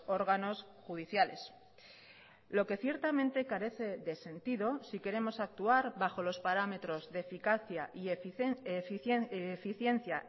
órganos judiciales lo que ciertamente carece de sentido si queremos actuar bajo los parámetros de eficacia y eficiencia